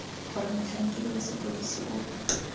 gore motlhankedi wa sepodisi o